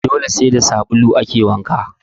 Dole sai da sabulu ake wanka